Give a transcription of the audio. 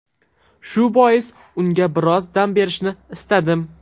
Shu bois unga biroz dam berishni istadim.